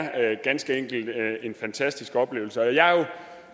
ganske enkelt en fantastisk oplevelse jeg er jo